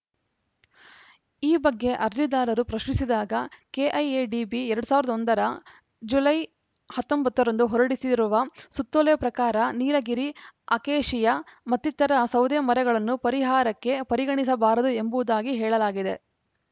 ಈ ಬಗ್ಗೆ ಅರ್ಜಿದಾರರು ಪ್ರಶ್ನಿಸಿದಾಗ ಕೆಐಎಡಿಬಿ ಎರಡ್ ಸಾವಿರದ ಒಂದ ರ ಜುಲೈ ಹತ್ತೊಂಬತ್ತ ರಂದು ಹೊರಡಿಸಿರುವ ಸುತ್ತೋಲೆ ಪ್ರಕಾರ ನೀಲಗಿರಿ ಅಕೇಶಿಯಾ ಮತ್ತಿತರ ಸೌದೆಮರಗಳನ್ನು ಪರಿಹಾರಕ್ಕೆ ಪರಿಗಣಿಸಬಾರದು ಎಂಬುದಾಗಿ ಹೇಳಲಾಗಿದೆ